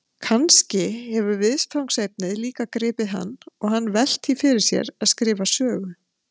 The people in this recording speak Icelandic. Kannski hefur viðfangsefnið líka gripið hann og hann velt því fyrir sér að skrifa sögu?